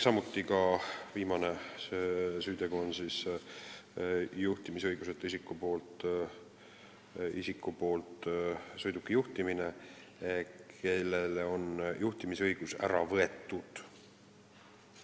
Viimane selline süütegu on see, kui sõidukit juhib isik, kellelt on juhtimisõigus ära võetud.